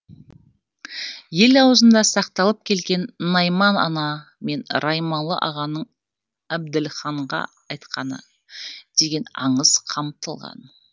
ел ауызында сақталып келген найман ана мен раймалы ағаның әбділханға айтқаны деген аңыз қамтылған